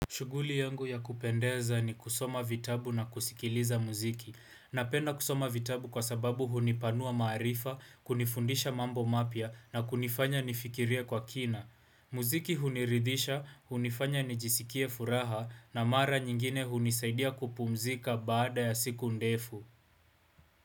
Shuguli yangu ya kupendeza ni kusoma vitabu na kusikiliza muziki Napenda kusoma vitabu kwa sababu hunipanua maarifa, kunifundisha mambo mapya na kunifanya nifikirie kwa kina muziki huniridhisha, hunifanya nijisikie furaha na mara nyingine hunisaidia kupumzika baada ya siku ndefu.